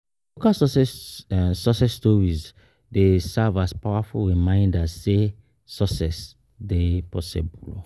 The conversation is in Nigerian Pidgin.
Local success success stories dey serve as powerful reminders say success dey possible.